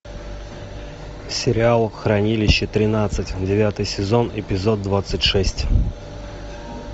сериал хранилище тринадцать девятый сезон эпизод двадцать шесть